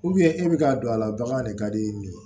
e bɛ ka don a la bagan de ka di nin ye